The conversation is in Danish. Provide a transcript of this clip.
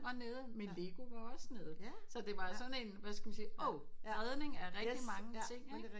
Og nede med legoet var også nede så det var sådan en hvad skal man sige oh redning af rigtig mange ting